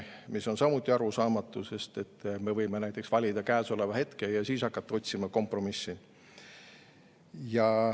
See on samuti arusaamatu, sest me võime ju valida käesoleva hetke ja hakata otsima kompromissi.